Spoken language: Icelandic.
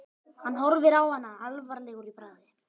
Hann horfir á hana alvarlegur í bragði.